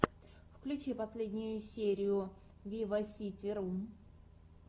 включи последнюю серию виваситиру